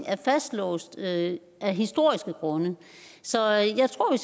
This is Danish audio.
er fastlåste af historiske grunde så jeg tror